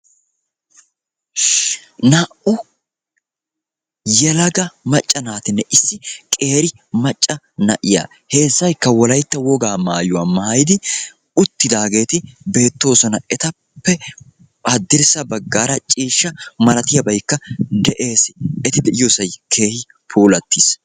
naa"u yelega naatine issi qeera macca na'iyaa heezzaykka wolaytta woga maayuwaa uuttidageeti beettoosana etappe haddirssa baggara ciishsha malatiyaabaykka de'ees eti de'iyoossaykka keehippe puulatiis